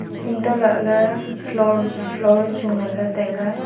antoh lah ley floor chu ngan ley tailey.